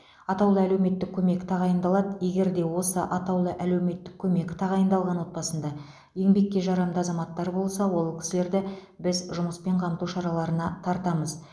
атаулы әлеуметтік көмек тағайындалады егер де осы атаулы әлеуметтік көмек тағайындалған отбасында еңбекке жарамды азаматтар болса ол кісілерді біз жұмыспен қамту шараларына тартамыз